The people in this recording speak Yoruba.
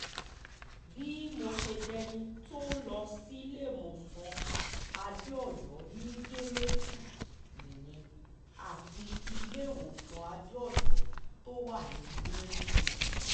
bí mo ṣe dẹni tó ń lọ síléemọ̀sán adéòyò ní yẹ́mẹ́tù nìyẹn àti iléewòsàn adéòyò tó wà ní ring road